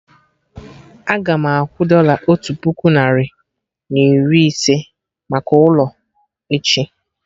Agam akwụ dọla otu puku narị na iri na ise maka ụlọ, echi